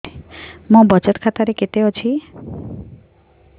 ମୋ ବଚତ ଖାତା ରେ କେତେ ଅଛି